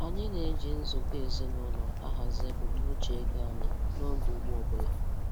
Anyị na-eji nzukọ ezinụlọ ahazi ebumnuche-ego anyị n'oge ugbo ọbụla.